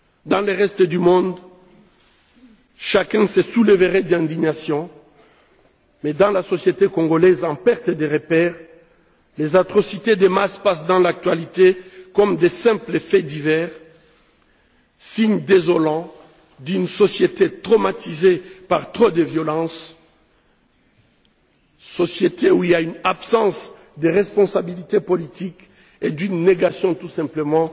Dans le reste du monde, chacun se soulèverait d'indignation mais, dans la société congolaise en perte de repères, les atrocités de masse passent dans l'actualité comme de simples faits divers, signes désolants d'une société traumatisée par trop de violence, société où il y a une absence de responsabilité politique, et d'une négation tout simplement